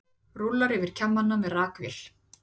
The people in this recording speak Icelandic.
Rúllar yfir kjammana með rakvél.